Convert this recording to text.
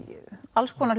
alls konar